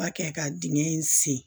B'a kɛ ka dingɛ in sen